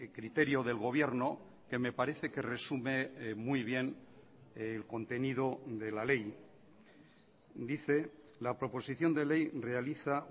criterio del gobierno que me parece que resume muy bien el contenido de la ley dice la proposición de ley realiza